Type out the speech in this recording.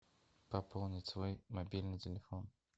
пополнить свой мобильный телефон